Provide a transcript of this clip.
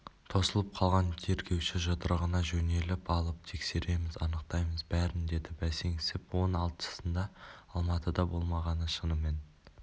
тосылып қалған тергеуші жұдырығына жөтеліп алып тексереміз анықтаймыз бәрін деді бәсеңсіп он алтысында алматыда болмағаны шынымен